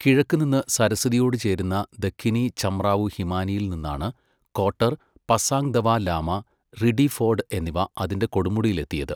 കിഴക്ക് നിന്ന് സരസ്വതിയോട് ചേരുന്ന ദഖിനി ചമ്രാവു ഹിമാനിയിൽ നിന്നാണ് കോട്ടർ, പസാങ് ദവ ലാമ, റിഡിഫോർഡ് എന്നിവ അതിന്റെ കൊടുമുടിയിലെത്തിയത്.